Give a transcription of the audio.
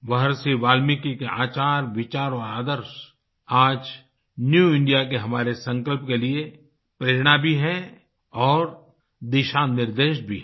महर्षि वाल्मीकि के आचार विचार और आदर्श आज न्यू इंडिया के हमारे संकल्प के लिए प्रेरणा भी हैं और दिशानिर्देश भी हैं